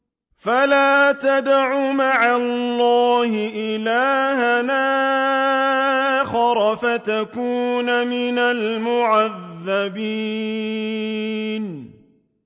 فَلَا تَدْعُ مَعَ اللَّهِ إِلَٰهًا آخَرَ فَتَكُونَ مِنَ الْمُعَذَّبِينَ